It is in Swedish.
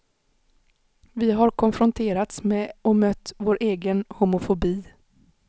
Vi har konfronterats med och mött vår egen homofobi.